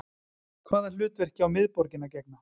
Hvaða hlutverki á miðborgin að gegna